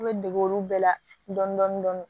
I bɛ dege olu bɛɛ la dɔn dɔni dɔni